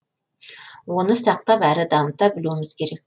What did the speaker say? оны сақтап әрі дамыта білуіміз керек